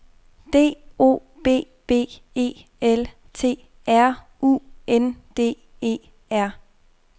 D O B B E L T R U N D E R